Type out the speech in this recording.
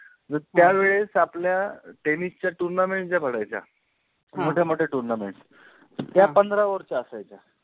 त्या वेळेस आपल्या tennis tournament ज्या भरायच्या ह मोठ्या मोठ्या turnament, त्या पंधरा ओवरच्या असायच्या